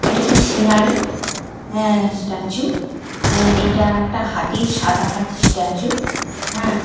একটা সিনারি হ্যাঁ স্ট্যাচু আহ এটা একটা হাতি সাদা হাতির স্ট্যাচু হ্যাঁ।